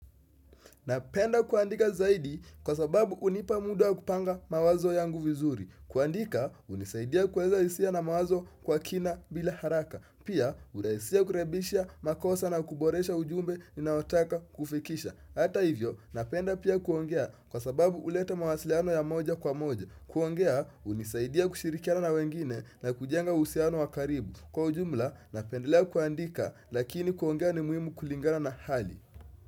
Napenda kuandika zaidi kwa sababu hunipa muda wa kupanga mawazo yangu vizuri kuandika hunisaidia kuweza hisia na mawazo kwa kina bila haraka Pia hurahisisha kurekebisha makosa na kuboresha ujumbe ninaotaka kufikisha Hata hivyo napenda pia kuongea kwa sababu ulete mawasiliano ya moja kwa moja kuongea hunisaidia kushirikiana na wengine na kujenga uhusiano wa karibu Kwa ujumla napendelea kuandika lakini kuongea ni muhimu kulingana na hali.